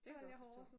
Det kan jeg godt forstå